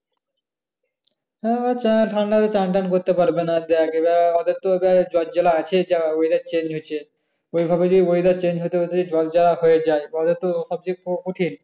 হ্যাঁ তা ঠান্ডায় চ্যান-ট্যান করতে পারবো না। যে ওদের তো যাই জর জালা আছে যা weather change হয়েছে। ওই ভাবে যদি weather change হতে হতে জর জালা হয়ে যায় পরে তো সবচেয়ে